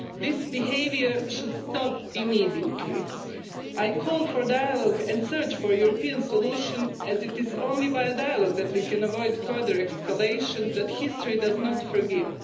This behaviour should stop immediately. I call for dialogue and the search for a European solution, as it is only by a dialogue that we can avoid a further escalation that history will not forgive.